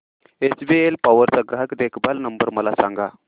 HBL power चा ग्राहक देखभाल नंबर मला सांगा